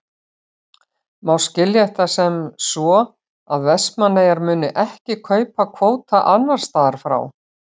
Má skilja þetta sem svo að Vestmannaeyjar muni ekki kaupa kvóta annars staðar frá?